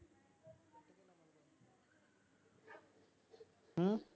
ਹੂੰ?